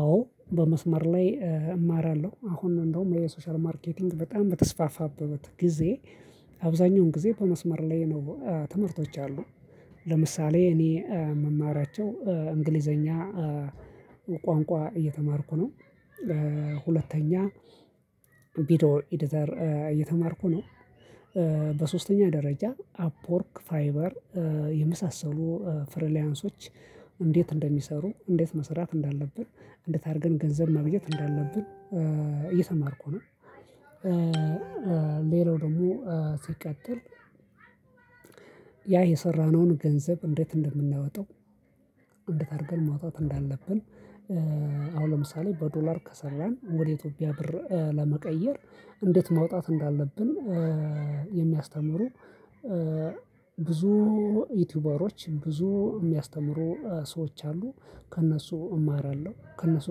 አዎ በመስመር ላይ እማራለሁ አሁን እንደውም የሶሻል ማርኬቲንግ በጣም በተስፋፋበት ጊዜ አብዛኛውን ጊዜ በመስመር ላይ ነው ትምህርቶች ያሉ። ለምሳሌ እኔ የምማራቸው እንግሊዘኛ ቋንቋ እየተማርኩ ነው። ሁለተኛ ቪዲዮ ኤዲተር እየተማርኩ ነው። በሶስተኛ ደረጃ አፕወርክ ፋይበር የመሳሰሉ ፍሪላንሶች እንዴት እንደሚሰሩ እንዴት መስራት እንዳለብን እንዴት አድርገን ገንዘብ ማግኘት እንዳለብን እየተማርኩ ነው። ሌላው ደግሞ ሲቀጥል ያ የሰራነውን ገንዘብ እንዴት እንደምናወጣው እንዴት አድርገን መውጣት እንዳለብን። አሁን ለምሳሌ በዶላር ከሰራን ወደ ኢትዮጵያ ብር ለመቀየር እንዴት ማውጣት እንዳለብን። የሚያስተምሩ ብዙ ዩቲዩበሮች ብዙ የሚያስተምሩ ሰዎች አሉ። ከእነሱ እማራለሁ። ከእነሱ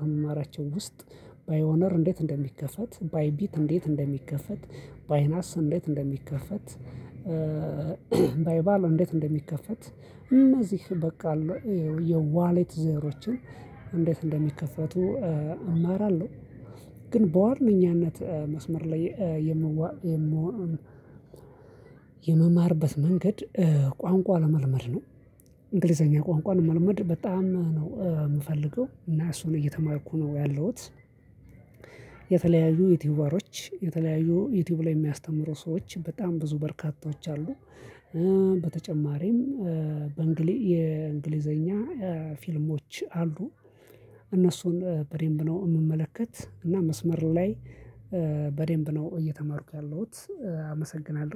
ከምማራቸው ውስጥ ፓይዎነር እንዴት እንደሚከፈት ባይቢት እንዴት እንደሚከፈት ባይናስ እንዴት እንደሚከፈት። ፓይባል እንዴት እንደሚከፈት እነዚህ በቃ አሉ የዋሌት ዘሮችን እንዴት እንደሚከፈቱ እማራለሁ። ግን በዋነኛነት መስመር ላይ የምዋ የምማርበት መንገድ ቋንቋ ለመልመድ ነው። እንግሊዘኛ ቋንቋ ለመልመድ በጣም ነው የምፈልገው እና እሱን እየተማርኩ ነው ያለሁት። የተለያዩ ዩቲዩበሮች የተለያዩ ዩቲዩብ ላይ የሚያስተምሩ ሰዎች በጣም ብዙ በርካቶች አሉ። በተጨማሪም በእንግሊ የእንግሊዘኛ ፊልሞች አሉ። እነሱን በደንብ ነው የምመለከት እና መስመር ላይ በደንብ ነው እየተማርኩ ያለውት አመሰግናለሁ